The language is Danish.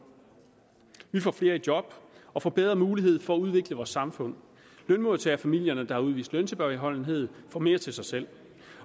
vi får flere i job og får bedre mulighed for at udvikle vores samfund lønmodtagerfamilierne der har udvist løntilbageholdenhed får mere til sig selv